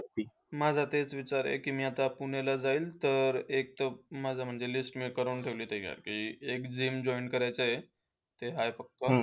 माझा तेच विचार आहे की मी पुण्याला जाईन तर एक माझा म्हणजे list करून ठेवली आहे तयार. एक GYM करायचं आहे. ते हाय फक्त.